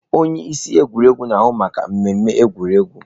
Onye isi egwuregwu na-ahụ maka mmemme egwuregwu.